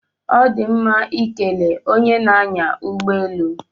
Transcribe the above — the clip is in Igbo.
Ọ dị mma ikele onye na-anya ụgbọelu